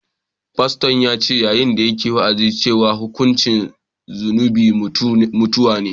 Faston ya ce yayin da yake wa’azi cewa hukuncin zunubi mutuwa ne